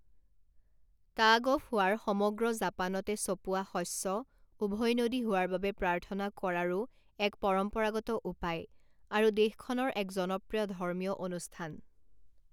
Tug of war সমগ্ৰ জাপানতে চপোৱা শস্য উভৈনদী হোৱাৰ বাবে প্ৰাৰ্থনা কৰাৰো এক পৰম্পৰাগত উপায় আৰু দেশখনৰ এক জনপ্ৰিয় ধৰ্মীয় অনুষ্ঠান।